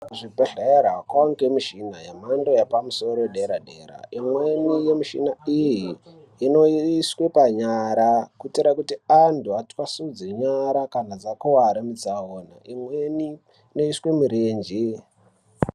Kuzvibhedhleya kowanikwe michina yemhando yepadera dera imweni yemichina iyi inoiswe panyara kuitire kuti antu atwasudze nyara kana dzakuwara mutsaona imweni inoiswe murenje.